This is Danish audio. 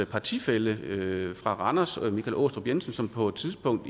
partifælle fra randers michael aastrup jensen på et tidspunkt